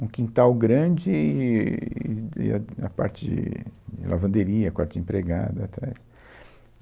Um quintal grande eee de a a parte de lavanderia, quarto de empregada, atrás.